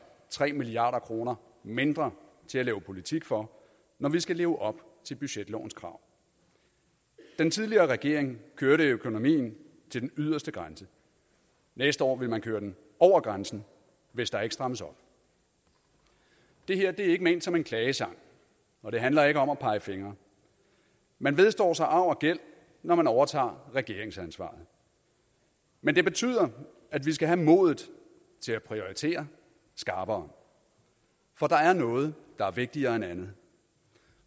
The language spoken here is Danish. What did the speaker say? tre milliard kroner mindre til at lave politik for når vi skal leve op til budgetlovens krav den tidligere regering kørte økonomien til den yderste grænse næste år vil man køre den over grænsen hvis der ikke strammes op det her er ikke ment som en klagesang og det handler ikke om at pege fingre man vedstår sig arv og gæld når man overtager regeringsansvaret men det betyder at vi skal have modet til at prioritere skarpere for der er noget der er vigtigere end andet